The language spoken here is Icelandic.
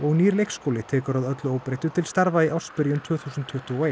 nýr leikskóli tekur að öllu óbreyttu til starfa í ársbyrjun tvö þúsund tuttugu og eitt